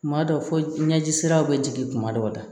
Kuma dɔ fɔ ɲɛji siraw bɛ jigin kuma dɔw la